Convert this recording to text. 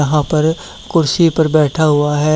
यहां पर कुर्सी पर बैठा हुआ है।